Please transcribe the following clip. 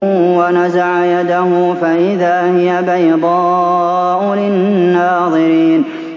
وَنَزَعَ يَدَهُ فَإِذَا هِيَ بَيْضَاءُ لِلنَّاظِرِينَ